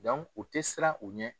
u tɛ siran u ɲɛ.